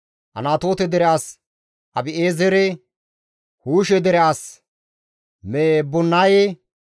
Anatoote dere as Abi7eezere, Huushe dere as Mebunaye,